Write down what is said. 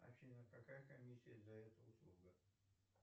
афина какая комиссия за эту услугу